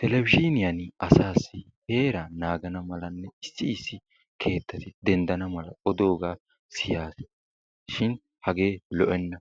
televizhiiniyaani asaassi heeraa naagana malanne issi issi keettati dendana mala odoogaa siyaasi shin hagee lo'enna.